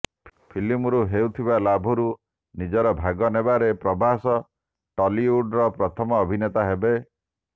ଫିଲ୍ମରୁ ହେଉଥିବା ଲାଭରୁ ନିଜର ଭାଗ ନେବାରେ ପ୍ରଭାସ ଟଲିଉଡ୍ର ପ୍ରଥମ ଅଭିନେତା ହେବେ